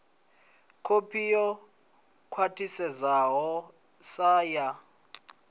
kopi yo khwathisedzwaho sa ya